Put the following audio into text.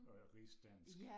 Og rigsdansk